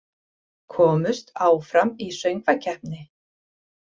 Komust áfram í söngvakeppni